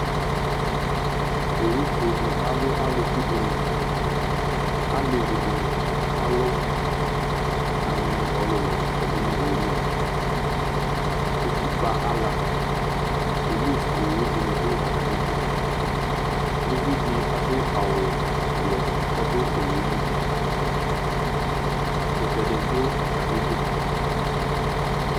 Owufue dɩ alʋ alʋku dɩnɩ Alevi dɩnɩ kalʋ aŋɛ nʋ ɔlʋlʋ yɔdʋ nʋ owu li Utikpǝ ala Polis owu dɩnɩ dʋ atamɩdu Uvi dɩ adʋ awʋblɔ kʋ ɔdʋ owu yɛ li Ɛkʋtɛ dɩ atamɩdu